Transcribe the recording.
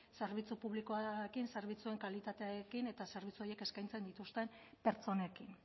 zerbitzu publikoarekin zerbitzuen kalitatearekin eta zerbitzu horiek eskaintzen dituzten pertsonekin